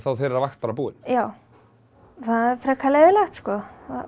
þeirra vakt bara búin já það er frekar leiðinlegt sko